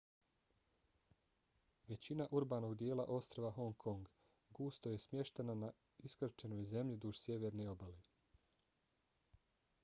većina urbanog dijela ostrva hong kong gusto je smještena na iskrčenoj zemlji duž sjeverne obale